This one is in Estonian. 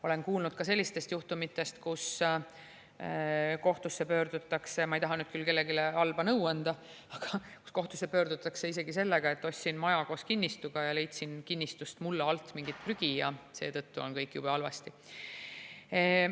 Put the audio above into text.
Olen kuulnud ka sellistest juhtumitest, kus kohtusse pöördutakse – ma ei taha nüüd kellelegi halba nõu anda – isegi sellega, et ostsin maja koos kinnistuga ja leidsin kinnistust mulla alt mingit prügi ja seetõttu on kõik jube halvasti.